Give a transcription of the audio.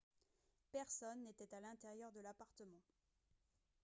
personne n'était à l'intérieur de l'appartement